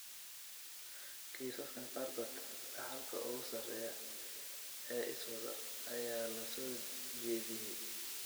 Kiisaskan qaarkood, dhaxalka ugu sarreeya ee iswada ayaa la soo jeediyay.